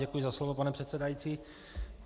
Děkuji za slovo, pane předsedající.